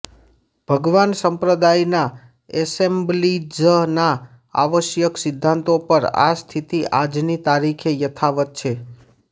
ભગવાન સંપ્રદાયના એસેમ્બલીઝના આવશ્યક સિદ્ધાંતો પર આ સ્થિતિ આજની તારીખે યથાવત છે